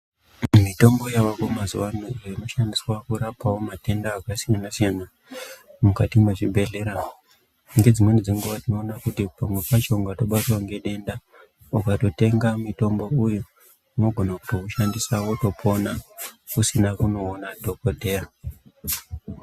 Mitombo yavako mazuwa ano iYo inoshandiswa kurapawo matenda akasiyana siyana mukati mwezvibhedhlera ngedzimweni dzenguwa tinoona kuti pamwe pacho ukatobatwa ngedenda ukatotenga mutombo uyu inogona kutoushandisa wotopona usina kunoona dhokodheya.